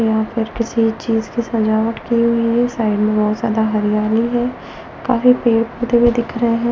यहां पर किसी चीज की सजावट की हुई है साइड में बहुत ज्यादा हरियाली है काफी पेड़ पौधे भी दिख रहे हैं।